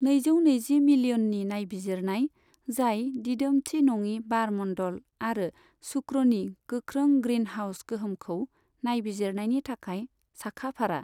नैजौ नैजि मिलियननि नायबिजिरनाय जाय दिदोमथि नङि बार मण्डल आरो शुक्रनि गोख्रों ग्रीनहाउस गोहोमखौ नायबिजिरनायनि थाखाय साखा फारा।